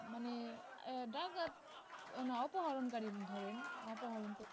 মানে আহ ডাকাত না অপহরণকারী ধরেন অপহরণকারী